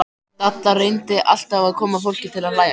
Dadda reyndi alltaf að koma fólki til að hlæja.